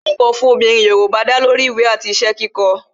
kíkó ǹkan fún obìnrin Yorùbá da lori ìwé àti iṣẹ́ kíkó